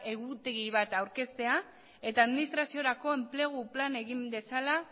egutegi bat aurkeztea eta administraziorako enplegu plana egin dezala